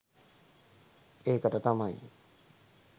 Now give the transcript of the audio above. ඒකට තමයි